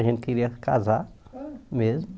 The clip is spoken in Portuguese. A gente queria casar mesmo.